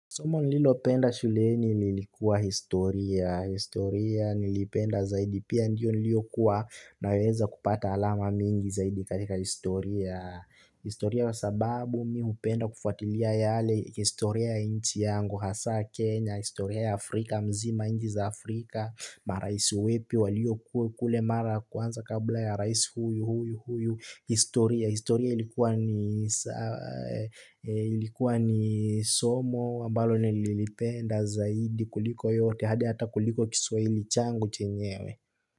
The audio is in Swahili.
Somo nililopenda shuleni lilikuwa historia. Historia niliipenda zaidi pia ndio nilikuwa naweza kupata alama mingi zaidi katika historia. Historia kwa sababu mimi hupenda kufatilia yale historia ya nchi yangu, hasa Kenya, historia ya Afrika mzima nchi za Afrika, marais wepi waliokuwa kule mara kwanza kabla ya rais huyu huyu huyu. Historia, historia ilikuwa ni ilikuwa ni somo ambalo nililipenda zaidi kuliko yote hadi hata kuliko kiswahili changu chenyewe.